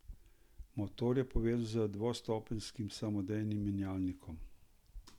Motor je povezan z devetstopenjskim samodejnim menjalnikom.